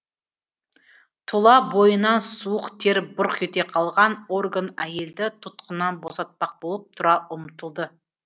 тұла бойынан суық тер бұрқ ете қалған орган әйелді тұтқыннан босатпақ болып тұра ұмтылды